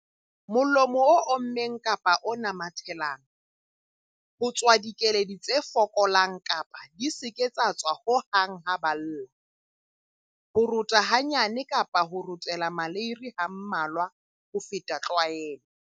Molomo o ommeng kapa o namathelang. Ho tswa dikeledi tse fokolang kapa di se ke tsa tswa ho hang ha ba lla. Ho rota hanyane kapa ho rotela maleiri ha mmalwa ho feta tlwaelo.